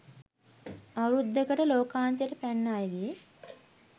අවුරුද්දකට ලෝකාන්තයට පැන්න අයගේ